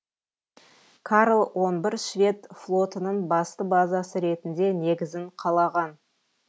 карл он бір швед флотының басты базасы ретінде негізін қалаған